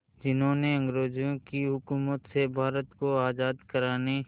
जिन्होंने अंग्रेज़ों की हुकूमत से भारत को आज़ाद कराने